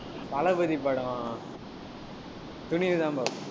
தளபதி படம் துணிவுதான் பார்ப்பேன்.